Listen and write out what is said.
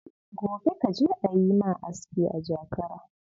Gobe ka je a yi ma aski a Jakara.